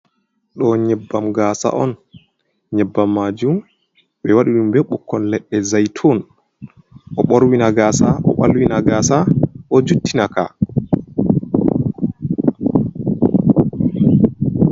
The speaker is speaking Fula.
Ɗo nyebbam gasa on, nyebbam majum ɓe waɗi ɗum be ɓukkon leɗɗe zaytun. Ɗo borwina gasa ɗo ɓalwina gaasa ɗo juttina ka.